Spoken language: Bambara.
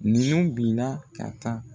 Ninnu bin na ka taa